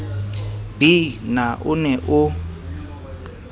b na o ne o